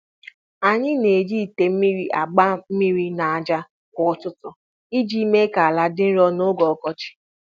Anyị na-eji ite mmiri agba mmiri n'aja kwa ụtụtụ iji mee ka ala dị nro n'oge ọkọchị.